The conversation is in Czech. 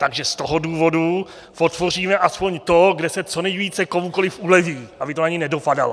Takže z toho důvodu podpoříme aspoň to, kde se co nejvíce komukoli uleví, aby to na něj nedopadalo.